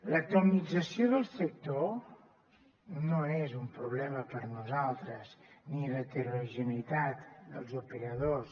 l’atomització del sector no és un problema per a nosaltres ni l’heterogeneïtat dels operadors